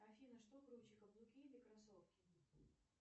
афина что круче каблуки или кроссовки